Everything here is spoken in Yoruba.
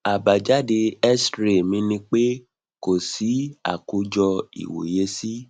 àbájáde xray mi ni pe kò sí akojo iwoye si